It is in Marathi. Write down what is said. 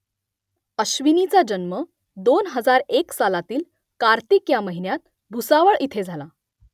अश्विनीचा जन्म दोन हजार एक सालातील कार्तिक या महिन्यात भुसावळ इथे झाला